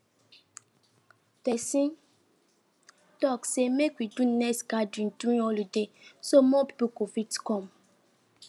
person talk say make we do next gathering during holiday so more people go fit come